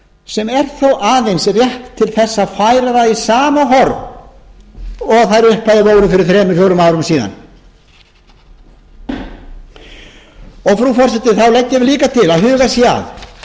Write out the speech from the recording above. sem er þó aðeins rétt til þess að færa það í sama horf og þær upphæðir voru fyrir þremur fjórum árum síðan frú forseti þá leggjum